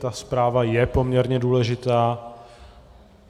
Ta zpráva je poměrně důležitá.